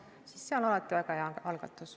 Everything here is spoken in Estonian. Nii et see on väga hea algatus.